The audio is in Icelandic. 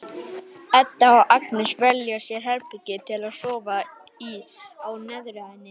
Edda og Agnes velja sér herbergi til að sofa í á neðri hæðinni.